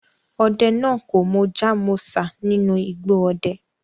Ode naa ko Mojá mósá ninu igbo ode